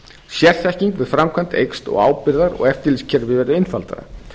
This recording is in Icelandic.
sérþekking með framkvæmd eykst og ábyrgðar og eftirlitskerfið verður einfaldara